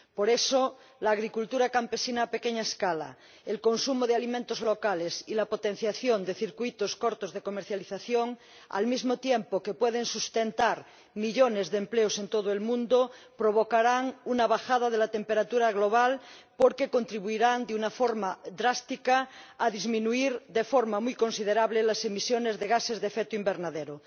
Por eso la agricultura campesina a pequeña escala, el consumo de alimentos locales y la potenciación de circuitos cortos de comercialización, al mismo tiempo que pueden sustentar millones de empleos en todo el mundo, provocarán una bajada de la temperatura global porque contribuirán de una forma drástica a disminuir de forma muy considerable las emisiones de gases de efecto invernadero.